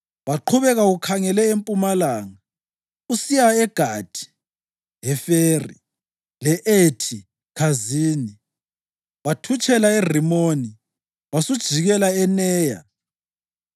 Waqhubeka ukhangele empumalanga usiya eGathi-Heferi le-Ethi Khazini; wathutshela eRimoni wasujikela eNeya.